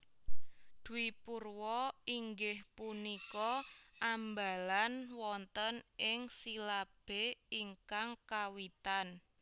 Dwipurwa inggih punika ambalan wonten ing silabé ingkang kawitan